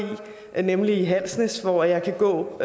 nemlig halsnæs hvor jeg kan gå